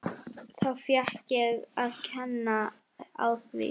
Þá fékk ég að kenna á því.